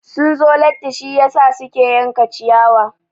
Sun zo latti shiyasa suke yanka ciyawa.